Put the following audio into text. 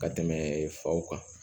Ka tɛmɛ faw kan